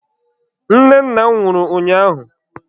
Nne nna m nwụrụ ụnyaahụ.